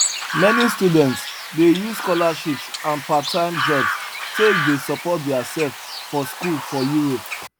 many students dey use scholarships and parttime jobs take dey support their self for school for europe